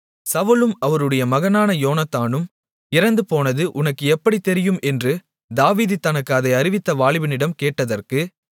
சவுலும் அவருடைய மகனான யோனத்தானும் இறந்துபோனது உனக்கு எப்படித் தெரியும் என்று தாவீது தனக்கு அதை அறிவித்த வாலிபனிடம் கேட்டதற்கு